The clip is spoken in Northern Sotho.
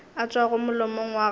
a tšwago molomong wa gago